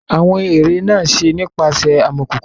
Awọn ere naa ṣe nipasẹ amọkoko.